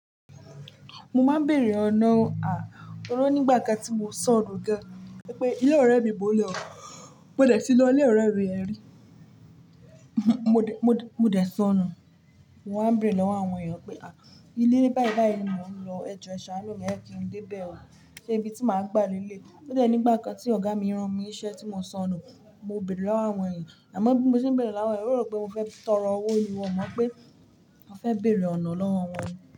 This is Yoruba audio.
Mo máa ń bèèrè ọ̀nà, à, torí nígbà kan tí mo sọnù ga pé ilé ọ̀rẹ́ mi bó lẹ, mo dẹ̀ ti lọ ilé ọ̀rẹ́ mi yẹ̀n rí. Mo dẹ̀ sọnù. Mo wa bêèrè lọ́wọ́ àwọn èèyàn pé, à, ilé báyi báyi ni mò ń lọ, ẹ jọ ẹ̀ṣà nu mí, má kí n dé bẹ̀ o. Ṣé ibi tí màá gbà lé léyi. Ode nígbà kan tí ọ̀gá mi rán mi iṣẹ́ tí mo sọnù, mo bèèrè lọ́wọ́ àwọn èèyàn. Àmọ́ bí mo ṣe ń bèèrè lọ́wọ́ wọn, wọn ro pé mo fẹ́ tọrọ owó. Wọn mọ pé mo fẹ́ bèèrè ọ̀nà lọ́wọ́ wọn ni.